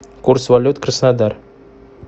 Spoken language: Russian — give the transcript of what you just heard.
курс валют краснодар